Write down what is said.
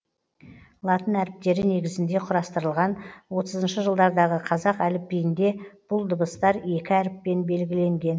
латын әріптері негізінде құрастырылған отызыншы жылдардағы қазақ әліпбиінде бұл дыбыстар екі әріппен белгіленген